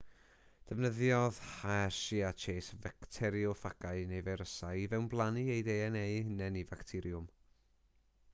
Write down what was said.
defnyddiodd hershey a chase facterioffagau neu feirysau i fewnblannu eu dna eu hunain i facteriwm